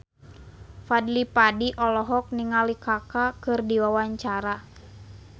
Fadly Padi olohok ningali Kaka keur diwawancara